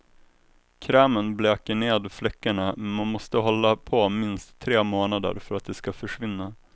Krämen bleker ner fläckarna, men man måste hålla på minst tre månader för att de ska försvinna.